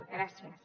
gràcies